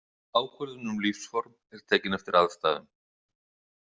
Ákvörðun um lífsform er tekin eftir aðstæðum.